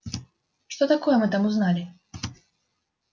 что такое мы там узнали